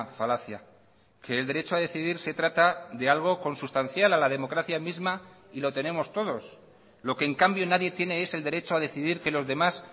falacia que el derecho a decidir se trata de algo consustancial a la democracia misma y lo tenemos todos lo que en cambio nadie tiene es el derecho a decidir que los demás